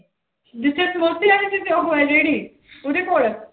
ਜਿੱਥੇ ਸਮੋਸੇ ਵਾਲੇ ਦੀ ਉਹ ਹੈ ਰੇਹੜੀ ਉਹਦੇ ਕੋਲ।